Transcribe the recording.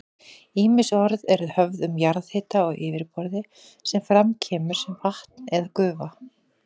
Ýmis orð eru höfð um jarðhita á yfirborði sem fram kemur sem vatn eða gufa.